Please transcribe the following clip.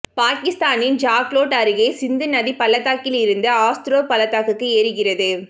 பாக்கித்தானின் ஜாக்லோட் அருகே சிந்து நதி பள்ளத்தாக்கிலிருந்து அஸ்தோர் பள்ளத்தாக்கு ஏறுகிறது